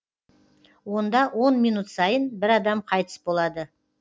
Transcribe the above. онда он минут сайын бір адам қайтыс болады